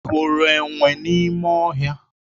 Ị hụrụ enwe n'ime ọhịa?